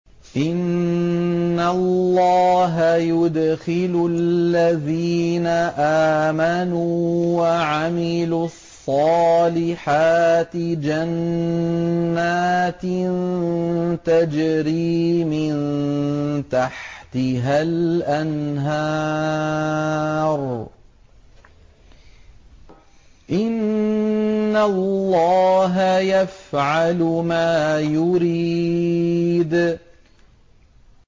إِنَّ اللَّهَ يُدْخِلُ الَّذِينَ آمَنُوا وَعَمِلُوا الصَّالِحَاتِ جَنَّاتٍ تَجْرِي مِن تَحْتِهَا الْأَنْهَارُ ۚ إِنَّ اللَّهَ يَفْعَلُ مَا يُرِيدُ